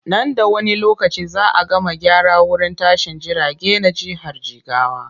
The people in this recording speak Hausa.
Nan da wani lokaci za a gama gyara wurin tashin jirage na jihar jigawa.